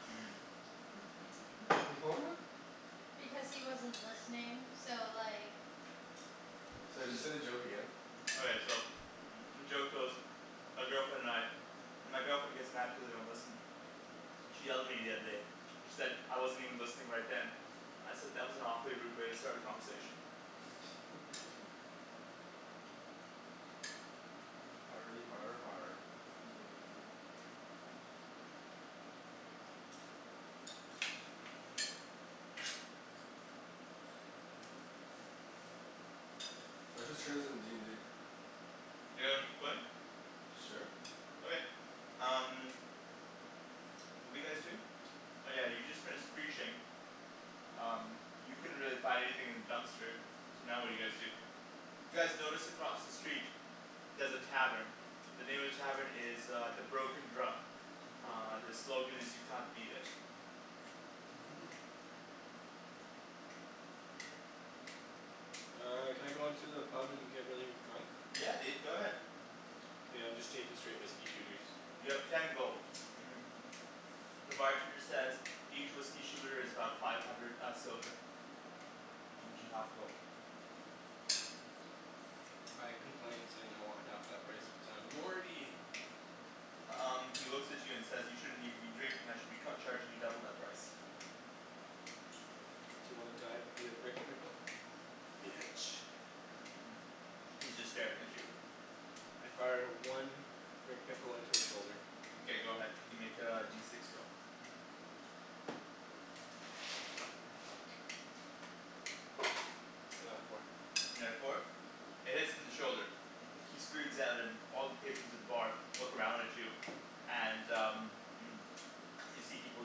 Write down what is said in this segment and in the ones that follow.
What? Because he wasn't listening. So like Sorry, just say the joke again? Okay so joke goes My girlfriend and I, my girlfriend gets mad cuz I don't listen. She yelled at me the other day. She said I wasn't even listening right then. I said "That was an awfully rude way to start a conversation." Hardy har har Yeah. All right, whose turn is it in d n d? You guys wanna keep playing? Sure. Okay, um What were you guys doing? Oh yeah, you just finished preaching. Um you couldn't really find anything in the dumpster. So now what do you guys do? You guys notice across the street there's a tavern. The name of the tavern is uh "The Broken Drum." Broken Uh the drill. slogan is "You can't beat it." Uh can I go into the pub and get really drunk? Yeah dude, go ahead. K, I'm just taking straight whiskey shooters. You have ten gold The bartender says "Each whiskey shooter is about five hundred uh silver. Which is half a gold. I complain saying I want half that price cuz I'm Morty! Um he looks at you and says "You shouldn't even be drinking, I should be cu- charging you double that price." D'you wanna die via Rick Pickle? Bitch. He's just staring at you. I fire one Rick Pickle into his shoulder. Mkay go ahead. You can make a D six roll. I got a four. You got a four? It hits him in the shoulder. He screams out and all the patrons at the bar look around at you and uh You see people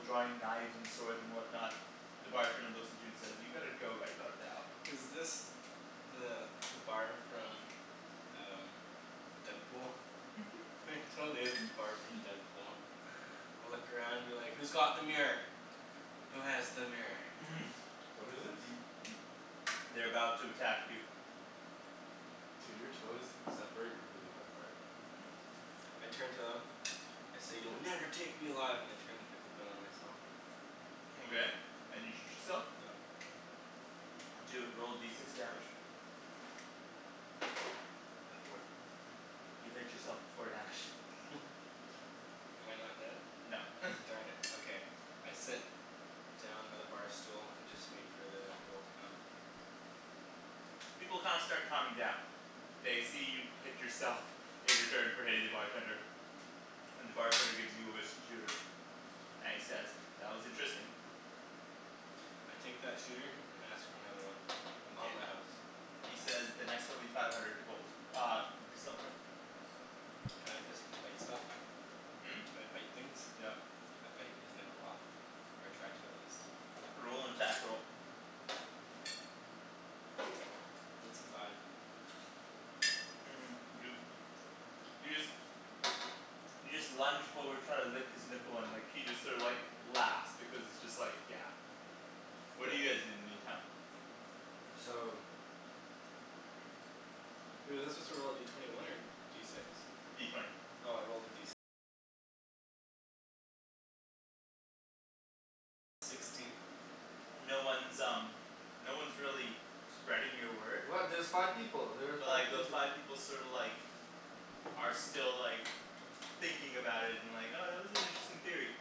drawing knives and swords and whatnot. The bartender looks at you and says "you better go right about now." Is this the the bar from uh Deadpool? It totally is the bar from Deadpool. Look around and be like "Who's got the mirror? Who has the mirror?" What is this? They're about to attack you. Dude, your toes separate really far apart. Mhm. I turn to them, I say "You'll never take me alive!" and I turn the pickle gun on myself. Okay, and you shoot yourself? Yep. Do a, roll D six damage. A four. You hit yourself for four damage. Am I not dead? No Darn it, okay. I sit down by the bar stool and just wait for the inevitable to come. People kinda start calming down. They see you hit yourself. In return for hitting the bartender. And the bartender gives you a whiskey shooter and he says "That was interesting" I take that shooter and ask for another one on Mkay, the house. he says "The next one will be five hundred gold uh silver." Can I physically bite stuff? Hmm? Can I bite things? Yeah. I bite his nipple off. Or I try to at least. Roll an attack roll It's a five. you you just you just lunge forward try to lick his nipple and like he just sort of like laughs because it's just like yeah What do What? you guys do in the meantime? So Was he supposed to roll a D twenty one or D six? D twenty. No one's um no one's really spreading your word. What? There's five people! There were But like five peop- those five people sorta like are still like thinking about it and like "Oh that was an interesting theory."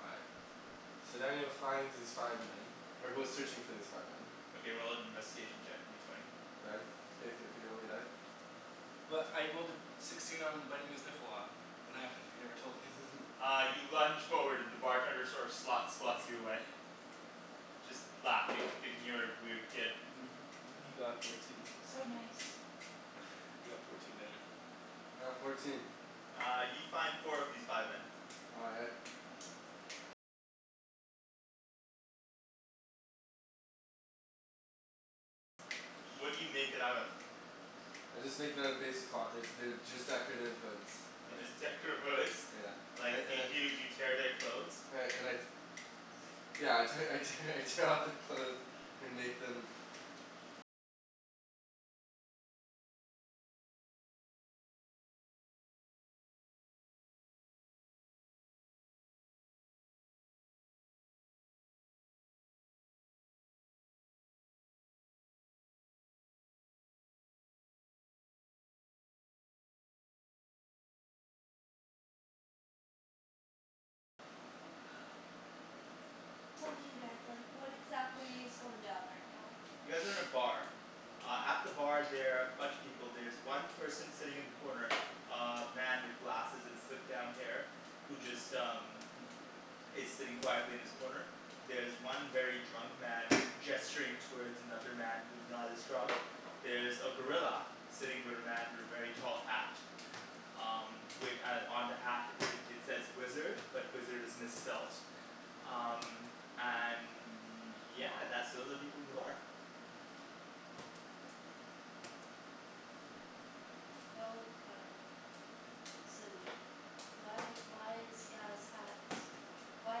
All right. So then he'll finds these five men. Or goes Mhm. searching for these five men Okay, roll an investigation check, a D twenty. Ryan? Can you thr- can you roll me a die? Well I rolled a sixteen on biting his nipple off. What happened? You never told me. Uh you lunge forward and the bartender sort of slots slots you away. Just laughing, thinking you're a weird kid. He got fourteen So nice. You got fourteen, Daniel. All right, fourteen. Uh you find four of these five men. All right. I just make it out of basic cloth. There's they're just decorative hoods, They're like just decorative hoods? Yeah. Like I and y- I y- you tear their clothes? and I and I Yeah I te- I tear I tear off their clothes and make them Tell me you guys like what exactly is going down right now? You guys are in a bar. Uh at the bar there are a bunch of people. There's one person sitting in the corner uh man with glasses and slicked down hair who just um is sitting quietly in his corner. There's one very drunk man gesturing towards another man who's not as drunk. There's a gorilla. Sitting with a man with a very tall hat. Um wi- on the hat it says wizard, but wizard is misspelt. Um and yeah, that's all the people in the bar. They all look kind of silly. Why why is the guy's hat, why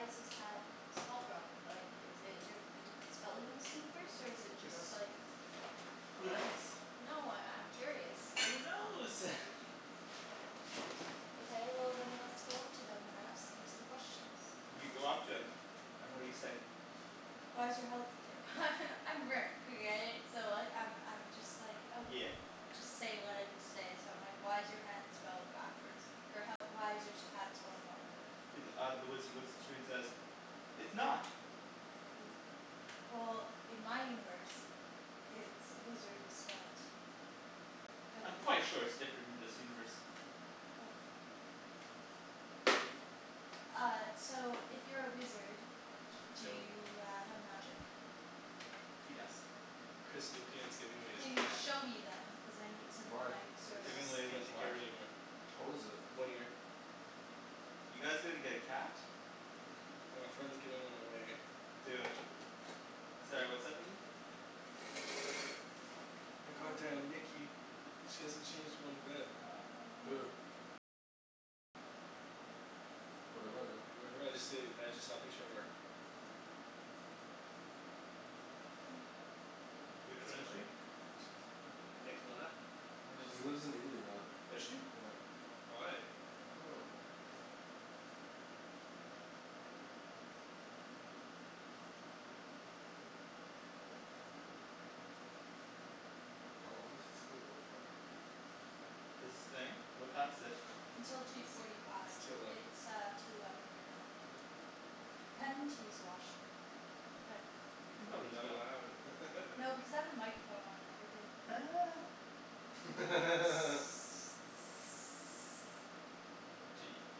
is his hat spelt wrong? Like is it di- a different spelling in this universe? Or is it Who knows? just like Who knows? No, I I'm curious. Who knows? Okay well then let's go up to them and ask them some questions. You go up to him and what do you say? Why is your health I'm Rick okay? So I I'm I'm just like oh Yeah. Just say what I need to say so I'm like "Why is your hat spelled backwards, or how why is your hat spelled wrong?" He th- uh the wizard looks at you and says "It's not!" W- Well in my universe it's, wizard is spelt w I'm quite sure it's different in this universe. Oh. Uh so if you're a wizard, do Dill. you uh have magic? He does. Chris Lupian is giving away his Can you cat. show me then? Cuz I need some Why? like sorta Giving away Just with can't take care what? of it anymore. How old is it? One year. You guys gonna get a cat? Well a friend's giving one away. Do it. Sorry, what's up Nikki? My god damn Nikki, she hasn't changed one bit. Who? What about her? You remember I just said I just saw a picture of her. Which That's one her is she? right? N- Nicolena? I don't She's remember. lives in Italy now. Does she? Yeah. Why? I dunno. How long does this thing go for? This thing? What time is it? Until two forty It's five. two eleven. It's uh two eleven right now. Kinda need to use the washroom but You can probably just Not go. allowed. No because I have a microphone on and everything. I'd be like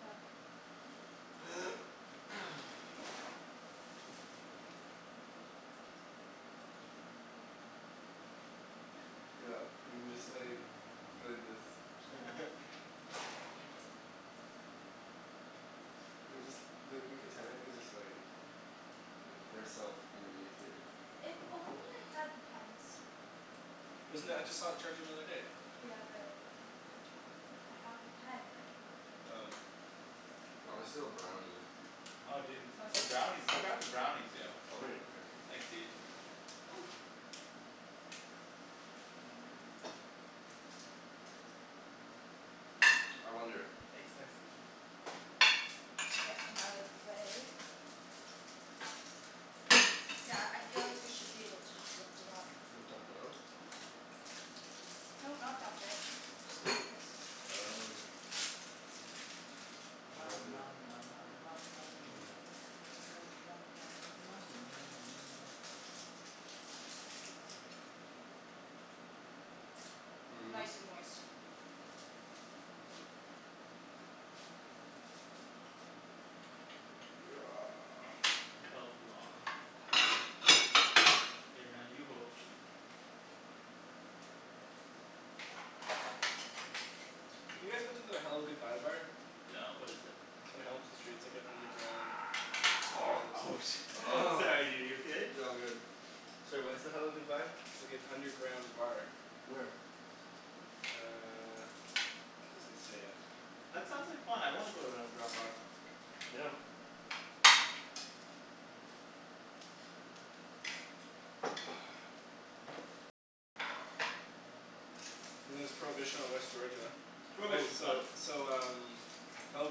What? Yeah, we can just like go like this. Chill. We could just like, we could technically just like like put ourself underneath here. If only I had the pen still. Wasn't that, I just saw it charging the other day. Yeah but I don't have the pen top. I have the pen, I don't have the pen Oh. top. I wanna steal a brownie. Oh dude let's have some brownies. Let's have some brownies, yo. Oh Ryan over here. Thanks dude. And I wonder Thanks Nikks. Get them out of the way. Yeah, I feel like we should be able to just lift it up. And dump it out? No, not dump it. Just go like this. Oh Ma Lovely. ma ma ma ma ma ma ma mia ma ma ma ma ma ma ma ma mia. Mhm. Nice and moist. It felt wrong. Here now you hold the sheep. Have you guys been to the Hello Goodbye Bar? No, what is it? On Hamilton Street. It's like an underground bar, it looks Oh like. shi- Sorry dude, are you okay? Yeah, I'm good. Sorry, what's the Hello Goodbye? Like an underground bar. Where? Uh, it doesn't say yet. That sounds like fun, I wanna go to an underground bar. Yeah. And there's Prohibition on West Georgia. Oh, Prohibition's fun. so so um Hello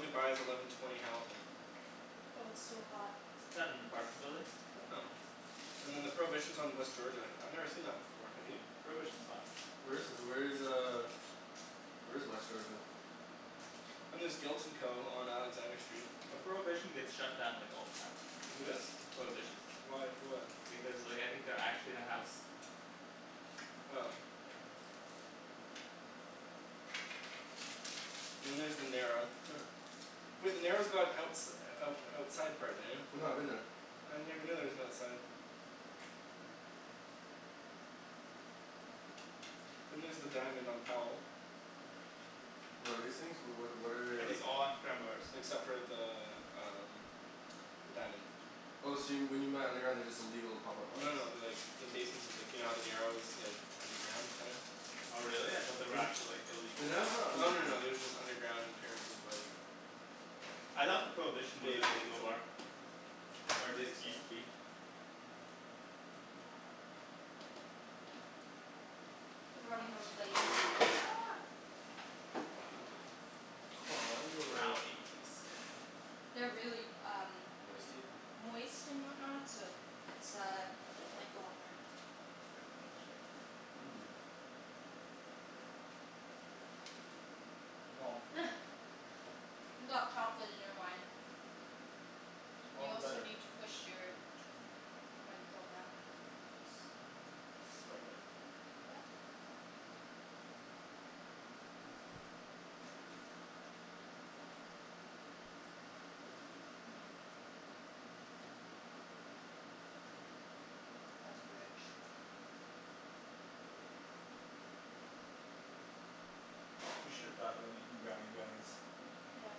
Goodbye is eleven twenty Hamilton. Well it's still hot. Isn't that an apartment building? I don't know. And then the Prohibition is on West Georgia. I've never seen that before, have you? Prohibition's fun. Where is where is uh where is West Georgia? And there's Guilt and Co. on Alexander Street. Well Prohibition gets shut down like all the time. Who does? Prohibition. Why? For what? Because like I think they're actually in a house. Oh. Yeah. Then there's The Narrow Wait The Narrow's got outs- out outside part, Daniel. I know, I've been there. I never knew there was an outside. Then there's the Diamond on Powell. What are these things? What what what Are are Like these all underground bars? except for the um The Diamond. Oh so when you meant underground, they're just illegal pop up No bars no no they're like in basementses. Like you know how the Narrow is like underground, kinda? Oh really? I thought they were actually like illegal The Narrow's pot not bars. Oh no no underground. no they're just underground in terms of like I thought the Prohibition was They an like it's illegal an bar. Or at I least think it so. used to be. We're running out of plates. Aw yeah. Brownies. They're really um Moisty? moist and whatnot, so it's uh might fall apart. Mmm. You got chocolate in your wine. All You the also better. need to push your microphone back in. Oopsie. Is this the right way? Yeah. Yep. That's rich. We should've thought about making brownie brownies. Yeah.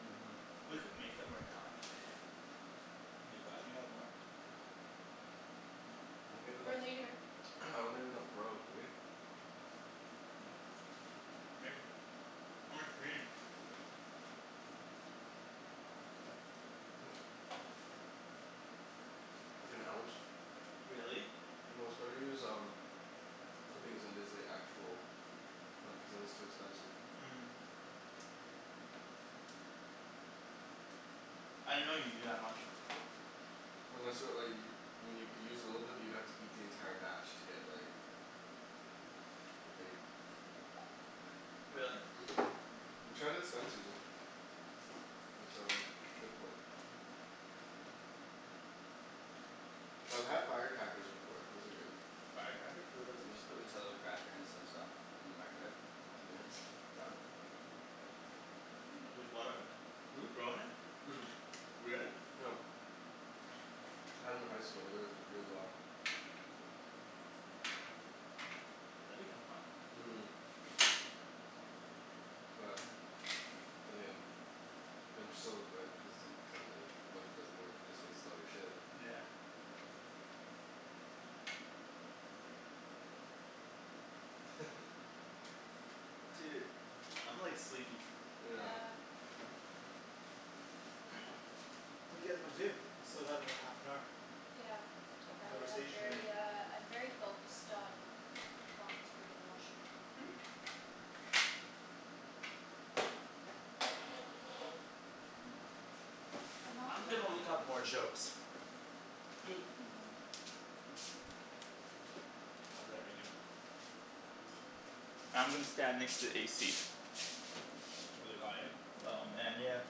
Mhm. We could make 'em right now actually. Make what? Do you have more? I don't have For enough, later. I don't have enough grow, do we? Maybe. How much do we need? Like an ounce. Really? Well it's better to use um clippings than it is like actual, cuz then it's too expensive. I didn't know you needed that much. Unless you want like y- I mean you could use a little bit but you'd have to eat the entire batch to get like get baked. Really? Mhm. We tried at Spencer's. It was um difficult. Yo I've had firecrackers before. Those are good. Firecrackers? What are those? You just put Nutella cracker and some stuff in the microwave. Two minutes. Done. With what in it? Hmm? With grow in it? Mhm. Really? Yep. Had 'em in high school, they worked really well. That'd be kinda fun. Mhm. Well, then again I'm so like hesitant, cuz I'm like what if it doesn't work? You just wasted all your shit. Yeah. Dude, I'm like sleepy. Yeah. Yeah. What do you guys wanna do? We still got another half an hour. Yeah. Of I am conversation to make. very uh I'm very focused on wanting to go to the washroom. I'm not I'm good gonna when look it up more jokes. I'll do that right now. I'm gonna stand next to the AC. It's really hot, eh? Oh man, yeah.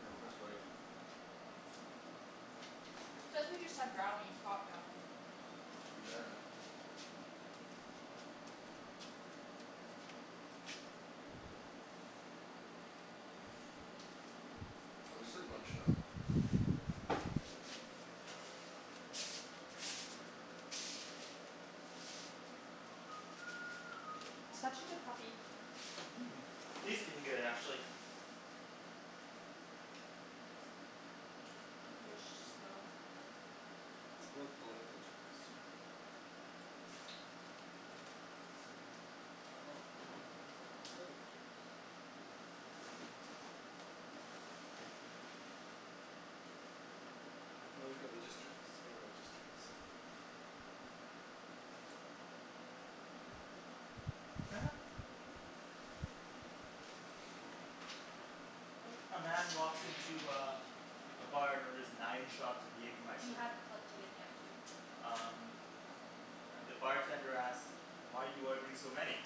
Yeah, I'm kinda sweaty. Cuz we just had brownies, hot brownies. True that. I'm just like munchin' out. Such a good puppy. Mhm, he's been good actually. You guys should just go. Let's go with political jokes. I don't want funny headlines, I want political jokes. Oh there's religious jokes. Let's go with religious jokes. A man walks into uh a bar and orders nine shots of You Jaegermeister. hadn't plugged it in yet, dude. Um And the bartender asks, "Why are you ordering so many?"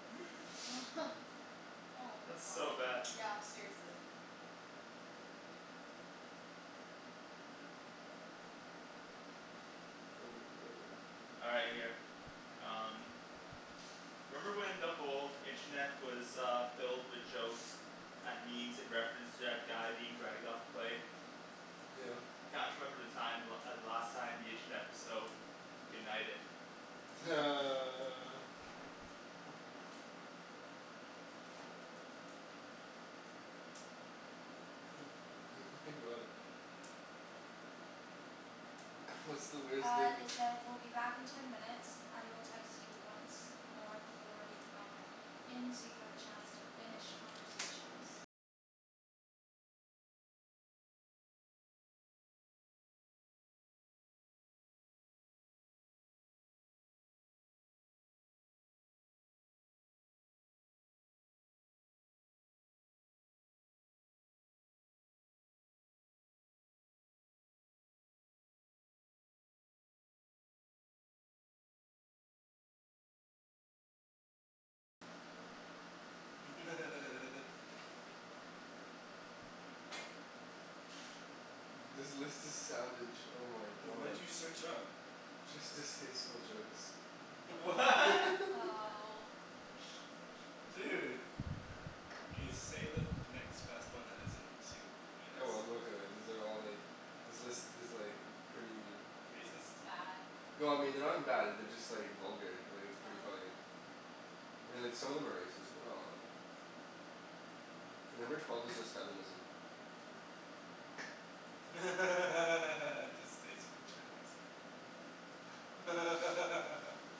Oh my That's so bad. god. Yeah, seriously. Oh my god. All right, here. Um. Remember when the whole internet was uh filled with jokes and memes in reference to that guy being dragged off the plane? Yeah. I can't remember the time the la- the last time the internet was so united. What's the worst Uh thing they said "We'll be back in ten minutes. I will text you once more before we come in so you have a chance to finish conversations." This list is savage, oh my What did god. you search up? Just distasteful jokes. Wha? Oh. Dude. K, say the next best one that isn't too heinous. Oh well I'm gonna throw it, these are all like, this list is like pretty Racist? Bad. No I mean they're not even bad, they're just like vulgar, like it's pretty Oh. funny. I mean like some of them are racist, but not a lot. Like number twelve is just feminism. Distasteful jokes.